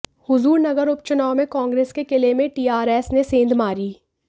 हुजूरनगर उपचुनाव में कांग्रेस के किले में टीआरएस ने सेंध मारी